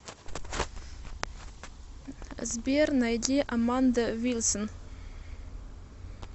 сбер найди аманда вилсон